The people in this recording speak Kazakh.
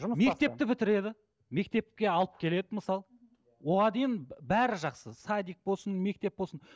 мектепті бітіреді мектепке алып келеді мысалы оған дейін бәрі жақсы садик болсын мектеп болсын